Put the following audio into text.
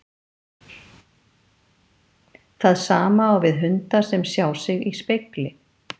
Það sama á við hunda sem sjá sig í spegli.